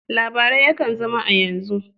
Labarai yakan zama a yanzu.